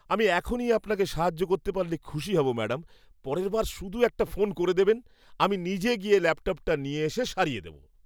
আমি এখনই আপনাকে সাহায্য করতে পারলে খুশি হব ম্যাডাম। পরের বার শুধু একটা ফোন করে দেবেন, আমি নিজে গিয়ে ল্যাপটপটা নিয়ে এসে সারিয়ে দেব।